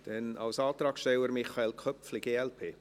Dann, als Antragssteller, Michael Köpfli, glp.